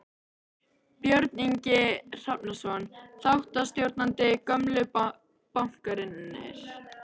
Björn Ingi Hrafnsson, þáttastjórnandi: Gömlu bankarnir?